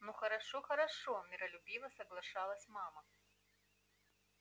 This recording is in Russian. ну хорошо хорошо миролюбиво соглашалась мама